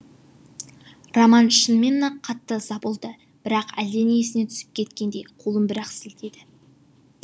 роман шынымен ақ қатты ыза болды бірақ әлдене есіне түсіп кеткендей қолын бір ақ сілтеді